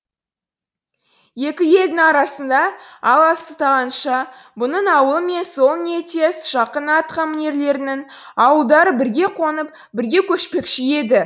екі елдің арасы алыстағанша бұның ауылы мен сол ниеттес жақын атқамінерлерінің ауылдары бірге қонып бірге көшпекші еді